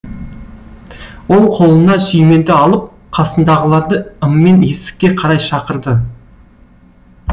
ол қолына сүйменді алып қасындағыларды ыммен есікке қарай шақырды